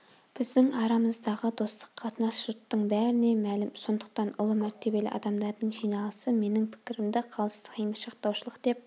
біздің арамыздағы достық қатынас жұрттың бәріне мәлім сондықтан ұлы мәртебелі адамдардың жиналысы менің пікірімді қалыстық емес жақтаушылық деп